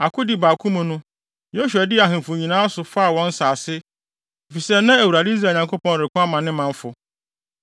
Akodi baako mu no, Yosua dii ahemfo yi nyinaa so faa wɔn nsase, efisɛ na Awurade, Israel Nyankopɔn, reko ama ne manfo.